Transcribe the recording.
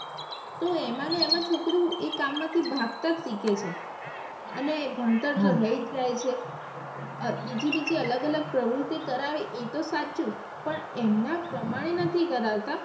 તો એમને એમાં છોકરું એ કામ માં થી ભાગતા જ શીખે છે અને ભણતર તો રહી જ જાય છે અ બીજી અલગ અલગ પ્રવૃત્તિ કરાવે એ તો સાચું પણ એમના પ્રમાણે નથી કરાવતા.